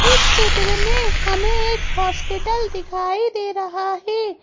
इस चित्र में हमें एक हॉस्पिटल दिखाई दे रहा है।